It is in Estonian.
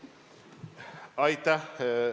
Aitäh!